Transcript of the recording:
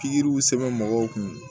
Pikiriw sɛbɛn mɔgɔw kun